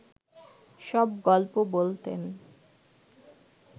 সব গল্প বলতেন